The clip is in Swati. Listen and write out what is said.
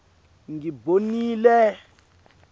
ngimbonile